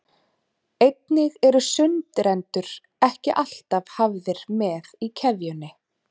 Einnig eru sundrendur ekki alltaf hafðir með í keðjunni.